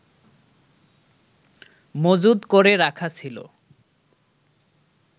মজুদ করে রাখা ছিল